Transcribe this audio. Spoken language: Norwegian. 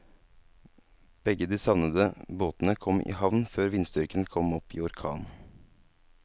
Begge de savnede båtene kom i havn før vindstyrken kom opp i orkan.